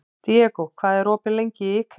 Diego, hvað er opið lengi í IKEA?